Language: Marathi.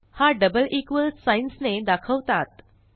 हा डबल इक्वॉल साइन्स ने दाखवतात